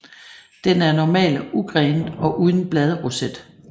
Den er normalt ugrenet og uden bladroset